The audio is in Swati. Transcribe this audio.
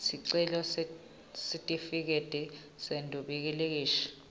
sicelo sesitifiketi seduplikhethi